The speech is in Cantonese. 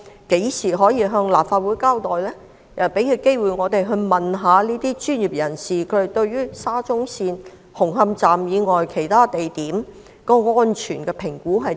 何時可以向立法會交代，讓我們有機會詢問專業人士對沙中線紅磡站以外其他地點的安全評估為何？